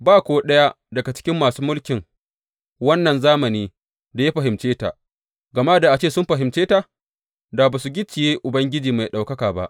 Ba ko ɗaya daga cikin masu mulkin wannan zamani da ya fahimce ta, gama da a ce sun fahimce ta, da ba su gicciye Ubangiji mai ɗaukaka ba.